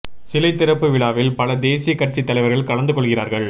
சிலை திறப்பு விழாவில் பல தேசிய கட்சித் தலைவர்கள் கலந்து கொள்கிறார்கள்